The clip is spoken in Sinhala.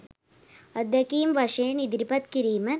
අත්දැකීම් වශයෙන් ඉදිරිපත් කිරීම